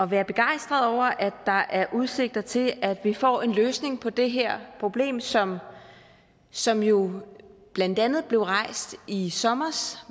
være begejstret over at der er udsigt til at vi får en løsning på det her problem som som jo blandt andet blev rejst i sommer